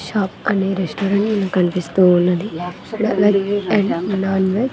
అనే రెస్టారెంట్ మన కన్పిస్తూ ఉన్నది అండ్ .